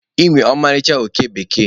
Ị nwere ọmarịcha oke bekee.